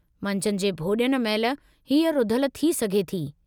मंझंदि जे भोॼन महिल हीअ रुधलु थी सघे थी।